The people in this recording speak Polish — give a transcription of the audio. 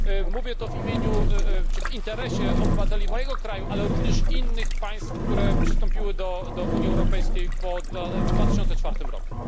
Mówię to w imieniu czy w interesie obywateli mojego kraju, ale również innych państw, które przystąpiły do Unii Europejskiej w 2004 roku.